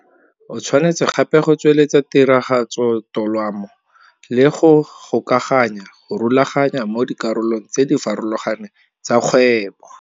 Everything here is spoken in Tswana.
O tshwanetse gape go tsweletsa tiragatsotolamo le go gokaganya, go rulaganya mo dikaraolong tse di farologaneng tsa kgwebo.